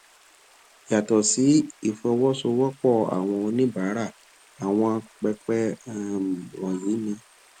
yàtọ sí ìfọsowósowópò àwọn oníbàárà àwọn pẹpẹ um wònyí ni